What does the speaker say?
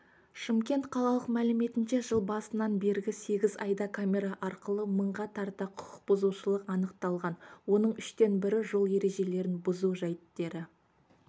шымкент қалалық мәліметінше жыл басынан бергі сегіз айда камера арқылы мыңға тарта құқықбұзушылық анықталған оның үштен бірі жол ережелерін бұзу жайттері